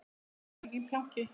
Síðasta æfingin planki.